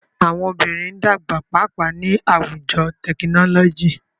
Awọn obinrin n dagba paapaa ni awujo tekinọlọji.